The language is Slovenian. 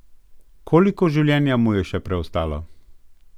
Koliko življenja mu je še preostalo?